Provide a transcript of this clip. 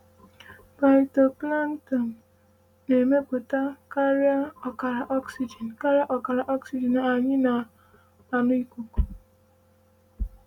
“Phytoplankton na-emepụta karịrị ọkara oxygen ọkara oxygen anyị na-anụ ikuku.”